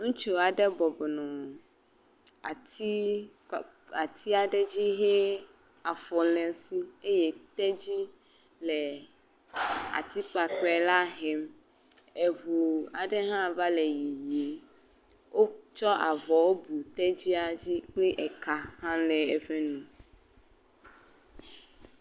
Ŋutsu aɖe bɔbɔ nɔ atsi ɖe dzi he afɔ le esi eye tedzi le ati kpakpe la hem. Eʋu aɖe hã va le yiyi. Wokɔ avɔ kɔ bu tevia dzi eye eƒe eka hã le eƒe nu.